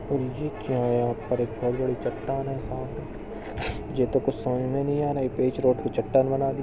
अरे ये क्या है? चटटान है सामने जो तो कुछ समझ नहीं को चटटान बना दी--।